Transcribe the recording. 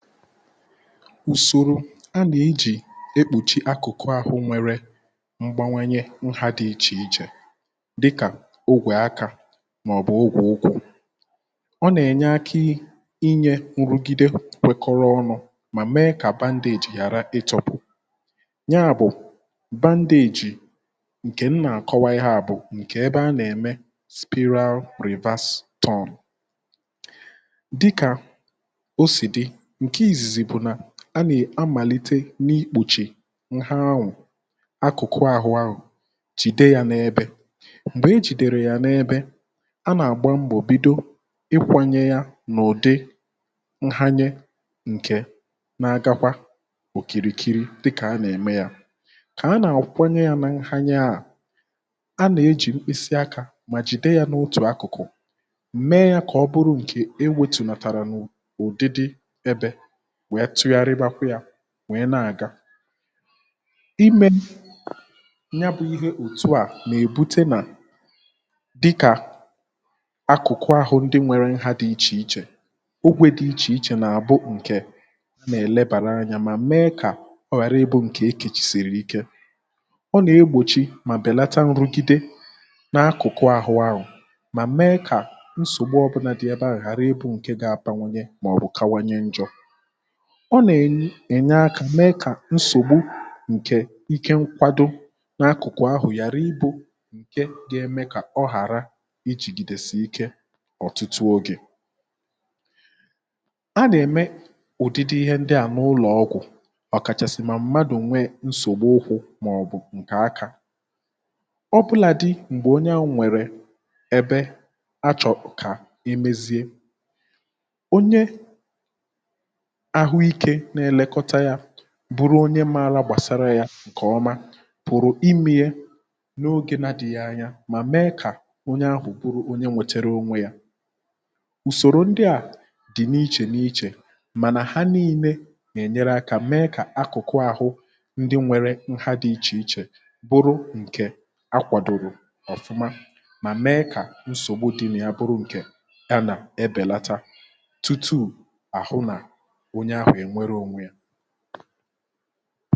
ùsòrò anà ejì ekpùchi akụ̀kụ àhụ nwere mgbanwanye nha dị̇ ichè ichè dịkà ogwè akȧ mà ọ̀ bụ̀ ogwè ukwù ọ nà-ènye aka inyė nrụ̀gide kpẹkọrọ ọnụ̇ mà mee kà bandage ghàra ịtọ̇pụ̀ ya bụ̀ bandage ǹkè m nà-àkọwa ihe a bụ̀ ǹkè ebe a nà-ème spịral reverse turn dịkà osi di, ǹke ìzìzì bụ̀ nà a nà-amàlite n’ikpòchì nha anwụ̀ akụ̀kụ àhụ anwụ̇ jìde ya n’ebė m̀gbè e jìdère ya n’ebė a nà-àgba mbọ̀ bìdo ikwȧnyė ya n’ụ̀dị nhanye ǹkè na-agakwa òkìrìkiri dịkà a nà-ème ya kà a nà-àkwanyė ya nȧ nhanye a a nà-ejì mkpịsị akȧ mà jìde ya n’otù akụ̀kụ̀ mee ya kà ọ bụrụ ǹkè enwėtùnàtàrà n’ụ̀dị dị ebe wèe tuyàrịgbakwụ yȧ wèe na-àga imė ya bụ̇ ihe òtu à nà-èbute nà dịkà akụ̀kụ ahụ̀ ndị nwėrė nha dị ichè ichè ogwe dị ichè ichè bụ ǹkè nà-èlebàra anyȧ mà mee kà ọ ghàra ịbụ̇ ǹkè ekèchì sìrì ike ọ nà-egbòchi mà bèlata nrụgide n’akụ̀kụ ahụ̀ ahụ̀ mà mee kà nsògbu ọbụlà dị ebe ahụ̀ ghàra ịbụ̇ ǹke ga-abawanye màọ̀bụ̀ kanwanye njọ̇, ọ na enye akà mee kà nsògbu ǹkè ike nkwado n’akụ̀kụ̀ ahụ̀ yàri ibu̇ ǹke ga-eme kà ọ ghàra ijìgìdèsì ike ọ̀tụtụ ogè ana ème ụ̀dịdị ihe ndị à n’ụlọ̀ ọgwụ̀ ọ̀kàchàsị̀ mà mmadụ̀ nwee nsògbu ukwu̇ màọbụ̀ ǹkè akȧ ọbụlàdị m̀gbè onye ahu nwèrè ebe achọ̀ro kà e mezie onye ahụike na-elekota ya bụrụ onye mȧrȧ gbàsara yȧ ǹkè ọma pụ̀rụ̀ ime ya n’ogė na-adìghi anya mà mee kà onye ahụ̀ bụrụ onye nwètèrè onwe yȧ ùsòrò ndị à dì n’ichè n’ichè mànà ha nille nà-ènyere akȧ mee kà akụ̀kụ àhụ ndị nwėrė nha dì ichè ichè bụrụ ǹkè a kwàdòrò ọ̀fụma mà mee kà nsògbu di ǹa ya bụrụ ǹkè ya anà-ebèlata tutu ahụ na onye ahụ enwere ònwe ya